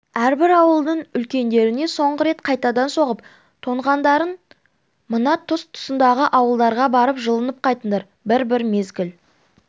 әрбір ауылдың үлкендеріне соңғы рет қайтадан соғып тоңғандарың мына тұс-тұсыңдағы ауылдарға барып жылынып қайтыңдар бір-бір мезгіл